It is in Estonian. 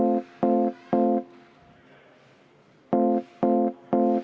Me lähemegi lõpphääletuse juurde.